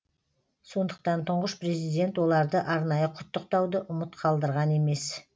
сондықтан тұңғыш президент оларды арнайы құттықтауды ұмыт қалдырған емес